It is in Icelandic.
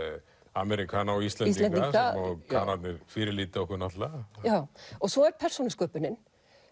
Ameríkana og Íslendinga Kanarnir fyrirlíta okkur náttúrulega og svo er persónusköpunin